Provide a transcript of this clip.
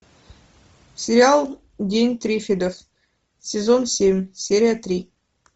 сериал день триффидов сезон семь серия три